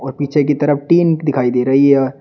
पीछे की तरफ टीन दिखाई दे रही है।